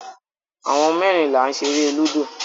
Àwọn mẹ́rin là ń ṣeré lúdò.